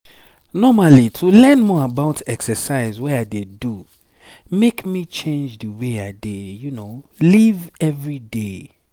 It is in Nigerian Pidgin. normally to learn more about exercise wey i dey do make me change the way i dey live every day.